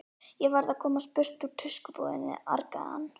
Ég verð að komast burt úr tuskubúðinni, argaði hann.